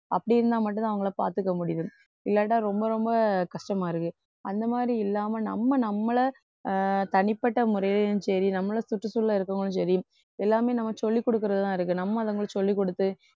அப்படி இருந்தா மட்டும்தான் அவங்களை பார்த்துக்க முடியுது இல்லாட்டா ரொம்ப ரொம்ப கஷ்டமா இருக்கு. அந்த மாதிரி இல்லாம நம்ம நம்மளை அஹ் தனிப்பட்ட முறையிலையும் சரி நம்மளை சுற்றுச்சூழல்ல இருக்கிறவங்களும் சரி எல்லாமே நம்ம சொல்லிக்குடுக்கிறதுலதான் இருக்கு நம்ம அதுங்களுக்கு சொல்லிக்குடுத்து